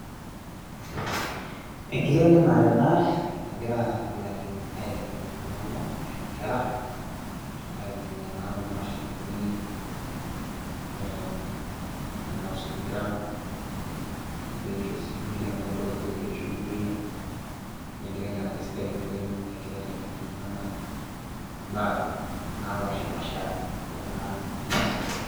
Enkitengenare ena nagira laing'eni aitengen ltunganak ashu aa inkera aitumia naa kuna mashinini enaa osipika, eigerisho sii lkule amu leldo ogira aigerisho teide .enkitengenare sidai oleng negirai aitengen ltunganak imbaa napaashaasha tena maisha.